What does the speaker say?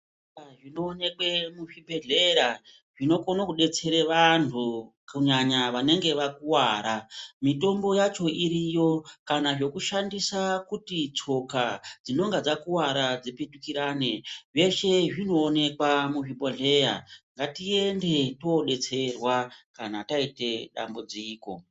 Zvinoonekwe muzvibhedhlera zvinokone kudetsere vanhu kUnyanya vanenge vakuwara mutombo yacho iriyo kana zvekushandisa kuti tsoka dzinenge dzakuwara dzipetukira e zveshe zvinoonekwa muzvibhodhleya ngatiende tindodetserwa kana taite dambudziko.